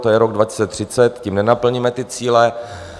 To je rok 2030, tím nenaplníme ty cíle.